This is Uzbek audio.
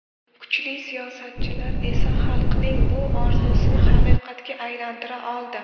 Kuchli siyosatchilar esa xalqning bu orzusini haqiqatga aylantira oldi.